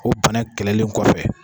O bana kɛlɛlen kɔfɛ.